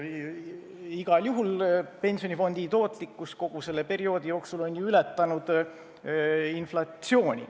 Igal juhul on pensionifondi tootlikkus kogu selle perioodi jooksul ületanud inflatsiooni.